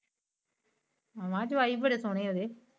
ਮੈ ਕੇਹਾ ਜਵਾਈ ਬੜੀ ਸੋਨੇ ਓਂਦੇ।